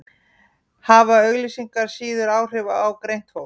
hafa auglýsingar síður áhrif á greint fólk